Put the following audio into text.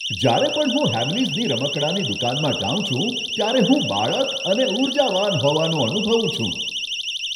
જ્યારે પણ હું હેમલીઝની રમકડાની દુકાનમાં જાઉં છું ત્યારે હું બાળક અને ઉર્જાવાન હોવાનું અનુભવું છું!